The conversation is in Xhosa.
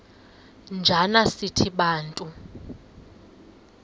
njana sithi bantu